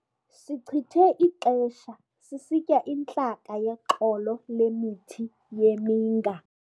Sichithe ixesha sisitya intlaka yexolo lemithi yeminga.